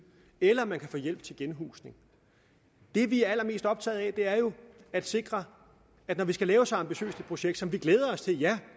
eller at man kan få hjælp til genhusning det vi er allermest optaget af er jo at sikre at når vi skal lave så ambitiøst et projekt som vi glæder os til ja